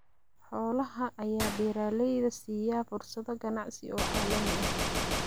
Xoolaha ayaa beeralayda siiya fursado ganacsi oo caalami ah.